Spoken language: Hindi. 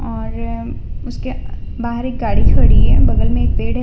और उसके बाहर एक गाड़ी खड़ी है बगल में एक पेड़ है।